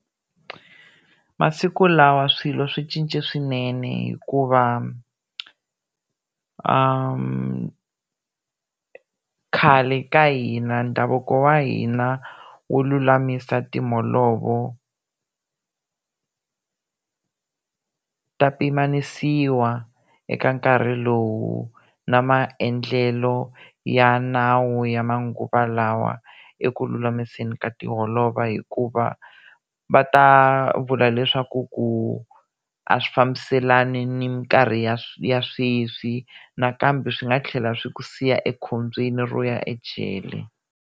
Masiku lawa swilo swi cince swinene hikuva khale ka hina ndhavuko wa hina wu lulamisa timholovo ta pimanisiwa eka nkarhi lowu na maendlelo ya nawu ya manguva lawa eku lulamiseni ka tiholova hikuva va ta vula leswaku ku a swi fambiselani ni minkarhi ya ya sweswi nakambe swi nga tlhela swi ku siya ekhombyeni ro ya ejele.